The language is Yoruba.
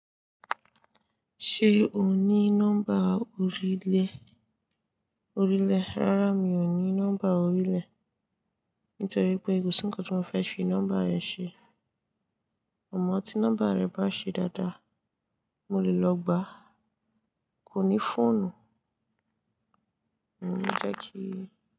Ṣé o ní nọ́mbà orílè? Orílè, rárá mi ò ní nọ́mbà orílè nítorí pé kò sí nǹkan tí mo fẹ́ fi nọ́mbà yẹn ṣe. Mo mọ̀ tí nọ́mbà rẹ bá ṣe dáadáa, mo lè lọ gbàá, kò ní fóònù. Mo ní fẹ́ kí.